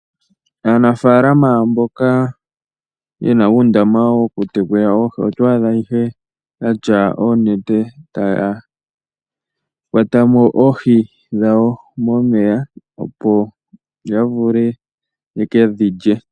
Aanafalama mboka yena undama woku tekula oohi otwadha ihe yatya oonete taya kwatamo oohi dhawo momeya opo yavule yekedhilye.